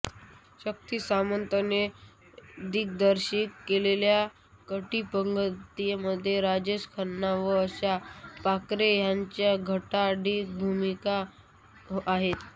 शक्ति सामंतने दिग्दर्शित केलेल्या कटी पतंगमध्ये राजेश खन्ना व आशा पारेख ह्यांच्या आघाडीच्या भूमिका आहेत